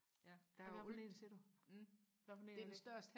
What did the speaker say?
hvad for en siger du hvad for en er det